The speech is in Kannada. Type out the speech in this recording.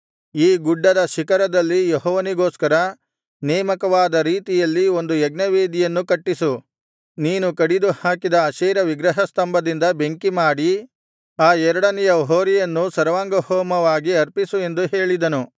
ಈ ಗುಡ್ದದ ಶಿಖರದಲ್ಲಿ ಯೆಹೋವನಿಗೋಸ್ಕರ ನೇಮಕವಾದ ರೀತಿಯಲ್ಲಿ ಒಂದು ಯಜ್ಞವೇದಿಯನ್ನು ಕಟ್ಟಿಸು ನೀನು ಕಡಿದು ಹಾಕಿದ ಅಶೇರ ವಿಗ್ರಹಸ್ತಂಭದಿಂದ ಬೆಂಕಿಮಾಡಿ ಆ ಎರಡನೆಯ ಹೋರಿಯನ್ನೂ ಸರ್ವಾಂಗಹೋಮವಾಗಿ ಸಮರ್ಪಿಸು ಎಂದು ಹೇಳಿದನು